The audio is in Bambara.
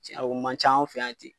Cɛ o man ca anw fɛ yan ten.